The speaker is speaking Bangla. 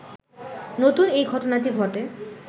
নতুন এই ঘটনাটি ঘটে